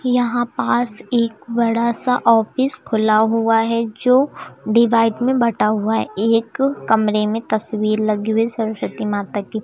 यहां पास एक बड़ा सा ऑफिस खुला हुआ है जो डिवाइड में बटा हुआ है एक कमरे में तस्वीर लगी हुई सरस्वती माता की।